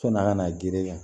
Sɔni a kana girinyan